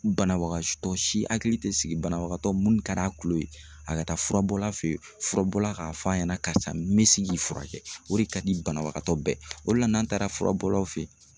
Banabagatɔ si hakili tɛ sigi banabagatɔ minnu ka di a tulo ye a ka taa furabɔla fɛ yen furabɔla k'a fɔ a ɲɛna karisa me se k'i furakɛ o de ka di banabagatɔ bɛɛ ye o de la n'an taara fura bɔlaw fɛ yen